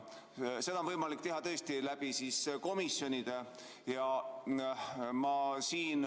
Seda on tõesti võimalik teha läbi komisjonide.